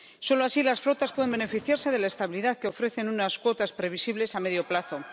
Solo así las flotas pueden beneficiarse de la estabilidad que ofrecen unas cuotas previsibles a medio plazo.